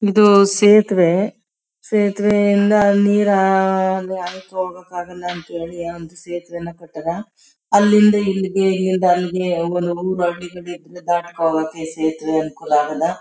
ಇದು ಸೇತುವೆ ಸೇತುವೆ ಇಂದ ನೀರು ಆಯ್ಕೊಂಡು ಹೋಗೋಕೆ ಆಗಲ್ಲ ಅಂತ ಹೇಳಿ ಒಂದು ಸೇತುವೆಯನ ಕೊಟ್ಟಾರ ಅಲ್ಲಿಂದ ಇಲ್ಲಿಗೆ ಇಲ್ಲಿಂದ ಅಲ್ಲಿಗೆ ದಟ್ಟಕೊಂಡ್ ಹೋಗೋಕೆ ಸೇತುವೆ ಅನುಕೂಲ ಅಗೆದ.